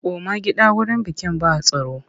Koma gida wurin bikin ba tsaro!